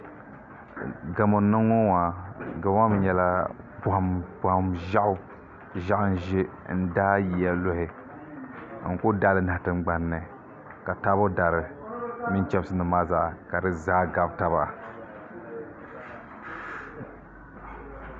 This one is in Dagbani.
Gamo n niŋ ŋɔ maa gamo maa mi nyɛla pɔhim ʒiɛɣu ʒiɛɣu n ʒɛ n daai yiya luhi n kuli daai li n bahi tingbani ni ka taabo dari mini chamsi ka di zaa nahi taba